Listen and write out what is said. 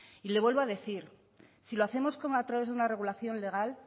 y le vuelvo a decir si lo hacemos a través de una regulación legal